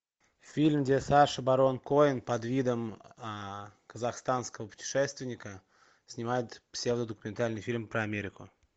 фильм где саша барон коэн под видом казахстанского путешественника снимает псевдодокументальный фильм про америку